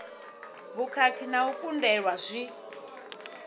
vhukhakhi na u kundelwa zwi